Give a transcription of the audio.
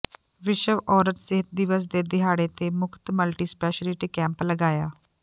ਵਿਸ਼ਵ ਔਰਤ ਸਿਹਤ ਦਿਵਸ ਦੇ ਦਿਹਾੜੇ ਤੇ ਮੁਫਤ ਮਲਟੀਸਪੈਸਲਿਟੀ ਕੈਪ ਲਗਾਇਆ